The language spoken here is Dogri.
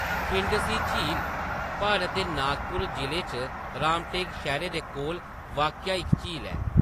खिंडसी झील भारत दे नागपुर जिले च रामटेक शैह्‌रै दे कोल वाक्या इक झील ऐ।